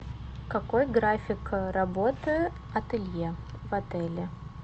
какой график работы ателье в отеле